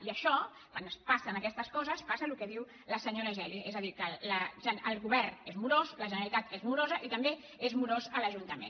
i això quan pas·sen aquestes coses passa el que diu la senyora geli és a dir que el govern és morós la generalitat és moro·sa i també és morós l’ajuntament